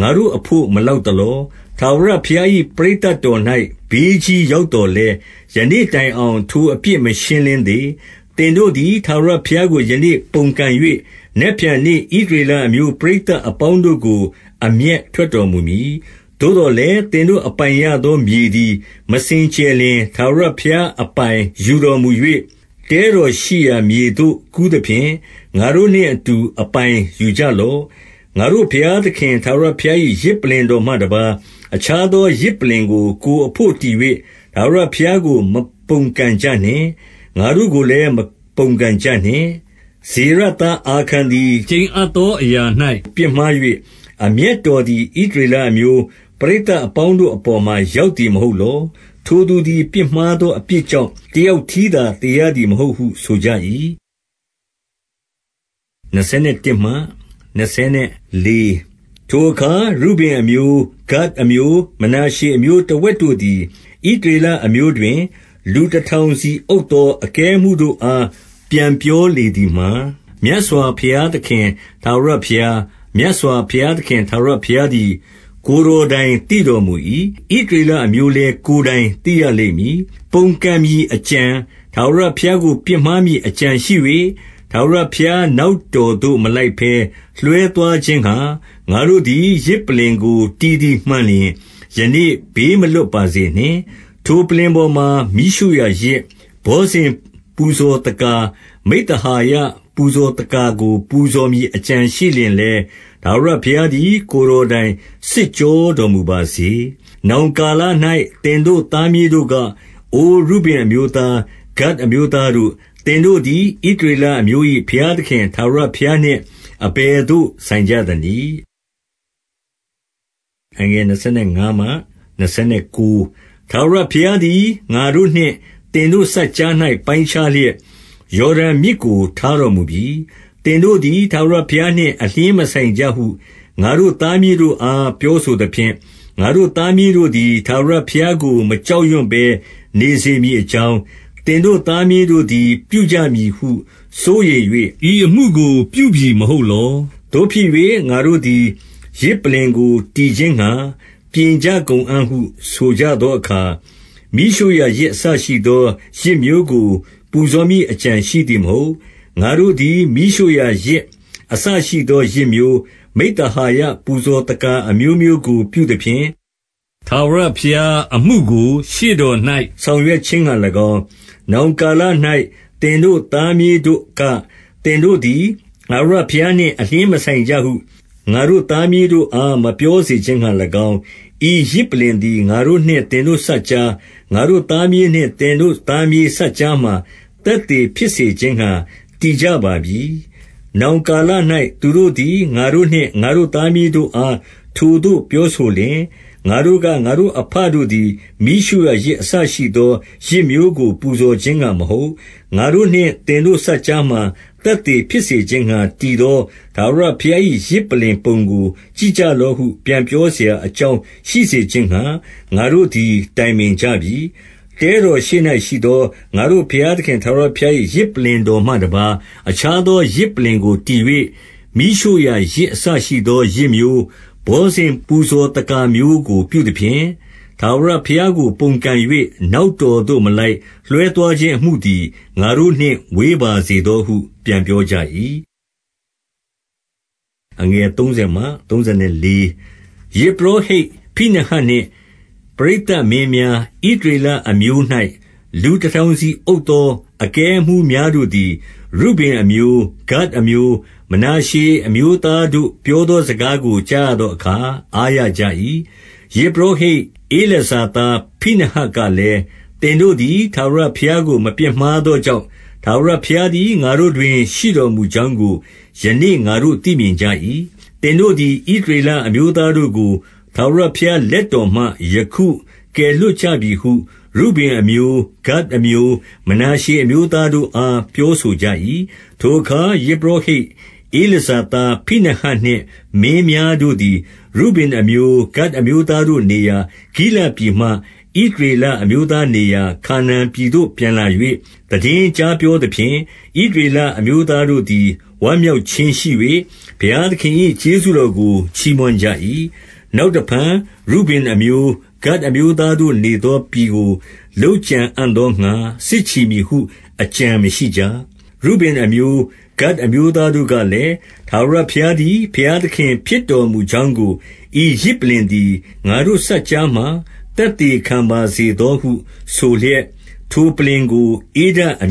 ငါတို့အဘို့ မလောက်သလော။ ထာဝရဘုရား၏ ပရိသတ် တော်၌ ဘေးကြီးရောက်သော်လည်း၊ ယနေ့တိုင်အောင် ထိုအပြစ် မရှင်းလင်းသေး။ 18 သင်တို့သည် ထာဝရဘုရားကို ယနေ့ ပုန်ကန်၍ နက်ဖြန်နေ့ ဣသရေလအမျိုး ပရိသတ်အပေါင်းတို့ကို အမျက်ထွက်တော်မူမည်။ 19 သို့သော်လည်း သင်တို့အပိုင်ရသောမြေသည် မစင်ကြယ်လျှင်၊ ထာဝရဘုရားအပိုင်ယူတော်မူ၍၊ တဲ တော်ရှိရာမြေသို့ ကူးသဖြင့် ငါတို့နှင့်အတူ အပိုင်ယူကြ လော့။ ငါတို့ဘုရားသခင် ထာဝရဘုရား၏ ယဇ်ပလ္လင် တော်မှတပါး၊ အခြားသော ယဇ်ပလ္လင်ကို ကိုယ်အဘို့ တည်၍ ထာဝရဘုရားကို မပုန်ကန်ကြနှင့်။ ငါတို့ကို လည်း မပုန်ကန်ကြနှင့်။ 20 ဇေရသား အာခန်သည် ကျိန်အပ်သောအရာ၌ ပြစ်မှား၍ အမျက်တော်သည် ဣသရေလအမျိုး ပရိသတ် အပေါင်းတို့အပေါ်မှာ ရောက်သည် မဟုတ်လော။ ထိုသူ သည် ပြစ်မှားသောအပြစ်ကြောင့် တယောက်တည်းသာ သေရသည် မဟုတ်ဟု ဆိုကြ၏။ 21 ထိုအခါ ရုဗင်အမျိုး၊ ဂဒ်အမျိုး၊ မနာရှေအမျိုး တဝက်တို့သည် ဣသရေလအမျိုးတွင် လူတထောင်စီအုပ် သော အကဲအမှူးတို့အား ပြန်ပြောလေသည်မှာ၊ 22 မြတ်စွာဘုရားသခင် ထာဝရဘုရား၊ မြတ်စွာဘုရား သခင် ထာဝရဘုရားသည် ကိုယ်တော်တိုင် သိတော်မူ၏။ ဣသရေလအမျိုးလည်း ကိုယ်တိုင်သိရလိမ့်မည်။ ပုန်ကန် မည်အကြံ၊ ထာဝရဘုရားကို ပြစ်မှားမည်အကြံရှိ၍၊ ထာဝရဘုရားနောက်တော်သို့ မလိုက်ဘဲ လွှဲသွားခြင်းငှါ ငါတို့သည် ယဇ်ပလ္လင်ကို တည်သည်မှန်လျှင်၊ ယနေ့ ဘေးမလွတ်ပါစေနှင့်။ 23 ထိုပလ္လင်ပေါ်မှာ မီးရှို့ရာယဇ်၊ ဘောဇဉ်ပူဇော် သက္ကာ၊ မိဿဟာယ ပူဇော်သက္ကာကို ပူဇော်မည်အကြံ ရှိလျှင်လည်း ထာဝရဘုရားသည် ကိုယ်တော်တိုင် စစ် ကြောတော်မူပါစေ။ 24 နောင်ကာလ၌ သင်တို့သားမြေးတို့က၊ အိုရုဗင် အမျိုးသား၊ ဂဒ်အမျိုးသားတို့၊ သင်တို့သည် ဣသရေလ အမျိုး၏ ဘုရားသခင် ထာဝရဘုရားနှင့် အဘယ်သို့ ဆိုင် ကြသနည်း။ 25 ထာဝရဘုရားသည် ငါတို့နှင့် သင်တို့စပ်ကြား၌ ပိုင်းခြားလျက် ယော်ဒန်မြစ်ကို ထားတော်မူပြီ။ သင်တို့ သည် ထာဝရဘုရားနှင့် အလျှင်းမဆိုင်ကြဟု ငါတို့သား မြေးတို့အား ပြောဆိုသဖြင့်၊ ငါတို့သားမြေးတို့သည် ထာဝရဘုရားကို မကြောက်ရွံ့ဘဲ နေစေမည်အကြောင်း၊ သင်တို့သားမြေးတို့သည် ပြုကြမည်ဟု စိုးရိမ်၍ ဤအမှုကို ပြုပြီမဟုတ်လော။ 26 သို့ဖြစ်၍ ငါတို့သည် ယဇ်ပလ္လင်ကို တည်ခြင်းငှါ ပြင်ကြကုန်အံ့ဟု ဆိုကြသောအခါ၊ မီးရှို့ရာယဇ်အစရှိ သော ယဇ်မျိုးကို ပူဇော်မည်အကြံရှိသည်မဟုတ်။ 27 ငါတို့သည် မီးရှို့ရာယဇ် အစရှိသော ယဇ်မျိုး၊ မိဿဟာယ ပူဇော်သက္ကာအမျိုးမျိုးကို ပြုသဖြင့်၊ ထာဝရ ဘုရားအမှုကို ရှေ့တော်၌ ဆောင်ရွက်ခြင်းငှါ၎င်း၊ နောင် ကာလ၌ သင်တို့သားမြေးတို့က၊ သင်တို့သည် ထာဝရ ဘုရားနှင့် အလျှင်းမဆိုင်ကြဟု ငါတို့သားမြေးတို့အား မပြောစေခြင်းငှါ၎င်း၊ ဤယဇ်ပလ္လင်သည် ငါတို့နှင့် သင်တို့စပ်ကြား၊ ငါတို့သားမြေးနှင့် သင်တို့သားမြေးစပ် ကြားမှာ သက်သေဖြစ်စေခြင်းငှါ တည်ကြပါပြီ။ 28 နောင်ကာလ၌ သူတို့သည် ငါတို့နှင့် ငါတို့သား မြေးတို့အား ထိုသို့ပြောဆိုလျှင်၊ ငါတို့က ငါတို့အဘတို့သည် မီးရှို့ရာယဇ် အစရှိသော ယဇ်မျိုးကို ပူဇော်ခြင်းငှါမဟုတ်၊ ငါတို့နှင့်သင်တို့စပ်ကြားမှာ သက်သေဖြစ်စေခြင်းငှါ တည်သော ထာဝရဘုရား၏ ယဇ်ပလ္လင်ပုံကို ကြည့်ကြ လော့ဟု ပြန်ပြောစရာအကြောင်း ရှိစေခြင်းငှါ ငါတို့သည် တိုင်ပင်ကြပြီ။ 29 တဲတော်ရှေ့၌ရှိသော ငါတို့ဘုရားသခင် ထာဝရ ဘုရား၏ ယဇ်ပုလ္လင်တော်မှတပါး အခြားသောယဇ်ပုလ္လင် ကို တည်၍ မီးရှို့ရာယဇ်အစရှိသော ယဇ်မျိုး၊ ဘောဇဉ် ပူဇော်သက္ကာမျိုးကို ပြုသဖြင့်၊ ထာဝရဘုရားကို ပုန်ကန်၍ နောက်တော်သို့မလိုက် လွှဲသွားခြင်းအမှုသည် ငါတို့နှင့် ဝေးပါစေသောဟု ပြန်ပြောကြ၏။ 30 ယဇ်ပုရောဟိတ်ဖိနဟတ်နှင့် ပရိသတ်မင်းများ၊ ဣသရေလအမျိုး၌ လူတထောင်စီအုပ်သော အကဲအမှူး များတို့သည် ရုဗင်အမျိုး၊ ဂဒ်အမျိုး၊ မနာရှေအမျိုးသားတို့ ပြောသောစကားကို ကြားရသောအခါ အားရကြ၏။ 31 ယဇ်ပုရောဟိတ် ဧလာဇာသား ဖိနဟတ်က လည်း၊ သင်တို့သည် ထာဝရဘုရားကို မပြစ်မှားသော ကြောင့်၊ ထာဝရဘုရားသည် ငါတို့တွင် ရှိတော်မူကြောင်း ကို ယနေ့ ငါတို့ သိမြင်ကြ၏။ သင်တို့သည် ဣသရေလ အမျိုးသားတို့ကို ထာဝရဘုရားလက်တော်မှ ယခုကယ် လွှတ်ကြပြီဟု ရုဗင်အမျိုး၊ ဂဒ်အမျိုး၊ မနာရှေအမျိုးသား တို့အား ပြောဆိုကြ၏။ 32 ထိုအခါ ယဇ်ပုရောဟိတ် ဧလာဇာသား ဖိနဟတ် နှင့် မင်းများတို့သည် ရုဗင်အမျိုး၊ ဂဒ်အမျိုးသားတို့နေရာ ဂိလဒ်ပြည်မှ ဣသရေလအမျိုးသားနေရာ ခါနာန်ပြည်သို့ ပြန်လာ၍ သိတင်းကြားပြောသဖြင့်၊ 33 ဣသရေလအမျိုးသားတို့သည် ဝမ်းမြောက်ခြင်း ရှိ၍ ဘုရားသခင်၏ ကျေးဇူးတော်ကို ချီးမွမ်းကြ၏။ နောက်တဖန် ရုဗင်အမျိုး၊ ဂဒ်အမျိုးသားတို့နေသောပြည် ကို လုပ်ကြံအံ့သောငှါ စစ်ချီမည်ဟု အကြံမရှိကြ။ 34 ရုဗင်အမျိုး၊ ဂဒ်အမျိုးသားတို့ကလည်း၊ ထာဝရ ဘုရားသည် ဘုရားသခင်ဖြစ်တော်မူကြောင်းကို ဤယဇ် ပုလ္လင်သည် ငါတို့စပ်ကြားမှာ သက်သေခံပါစေသောဟု ဆိုလျက် ထိုပလ္လင်ကို ဧဒအမ